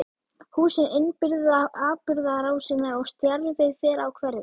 Húsin innbyrða atburðarásina og stjarfi fer á hverfið.